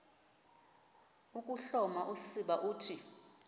ukuhloma usiba uthi